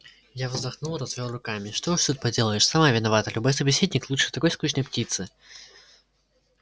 я вздохнул развёл руками что уж тут поделаешь сама виновата любой собеседник лучше такой скучной птицы